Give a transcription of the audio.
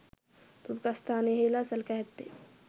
ප්‍රමුඛස්ථානයෙහිලා සලකා ඇත්තේ